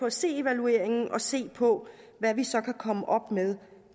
at se evalueringen og se på hvad vi så kan komme op med